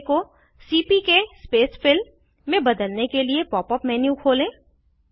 display को CPK space fill में बदलने के लिए पॉप अप मेन्यू खोलें